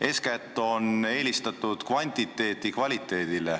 Eeskätt on eelistatud kvantiteeti kvaliteedile.